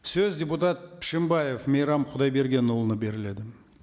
сөз депутат пшембаев мейрам құдайбергенұлына беріледі